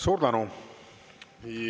Suur tänu!